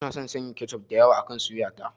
Ina son sanya kechof da yawa akan suya ta.